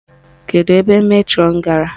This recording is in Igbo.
Kedu ebe metrọnụ gara?